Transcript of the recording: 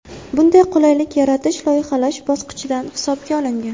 Bunday qulaylik yaratish loyihalash bosqichida hisobga olingan.